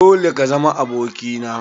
Dole ka zama aboki na!